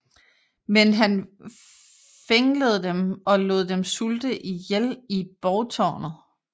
Men han fænglede dem og lod dem sulte ihjel i borgtårnet